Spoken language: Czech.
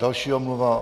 Další omluva.